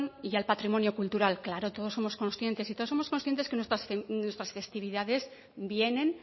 y al patrimonio cultural claro todos somos conscientes que nuestras festividades vienen